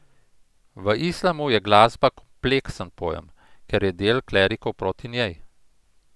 V islamu je glasba kompleksen pojem, ker je del klerikov proti njej.